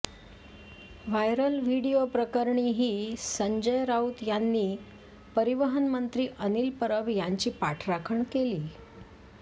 viral video प्रकरणीही संजय राऊत यांनी परिवहन मंत्री अनिल परब यांची पाठराखण केली